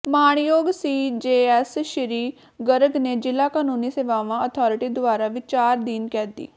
ਮਾਣਯੋਗ ਸੀਜੇਐਮ ਸ਼੍ਰੀ ਗਰਗ ਨੇ ਜਿਲ੍ਹਾ ਕਾਨੂੰਨੀ ਸੇਵਾਵਾਂ ਅਥਾਰਿਟੀ ਦੁਆਰਾ ਵਿਚਾਰਾਧੀਨ ਕੈਦੀ